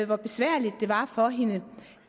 hvor besværligt det var for hende